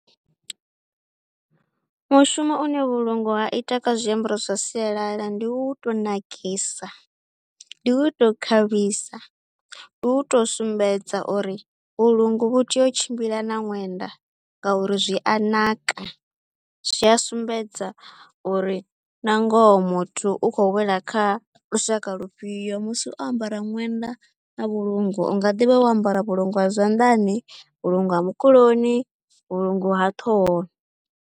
Mushumo une vhulungu ha ita kha zwiambaro zwa sialala ndi u tou nakisa, ndi u tou khavhisa, ndi u tou sumbedza uri vhulungu vhu tea u tshimbila na ṅwenda ngauri zwi a naka, zwi a sumbedza uri na ngoho muthu u khou wela kha lushaka lufhio musi o ambara ṅwenda na vhulungu, u nga ḓi vha wo ambara vhulungu ha zwanḓani, vhulungu ha mukuloni, vhulungu ha ṱhohoni.